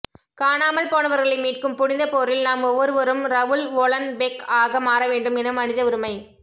காணாமல் போனவர்களை மீட்கும் புனிதப் போரில் நாம் ஒவ்வொருவரும் ரவுல் வொலன்பெக் ஆக மாறவேண்டும் என மனித உரிமை